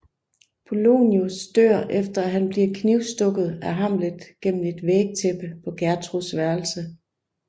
Polonius dør efter at han bliver knivstukket af Hamlet gennem et vægtæppe på Gertruds værelse